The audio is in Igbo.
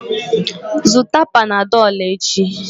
Zụta panadọlụ echi